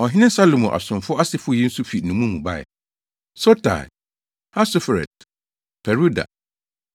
Ɔhene Salomo asomfo asefo yi nso fi nnommum mu bae: 1 Sotai, Hasoferet, Peruda, 1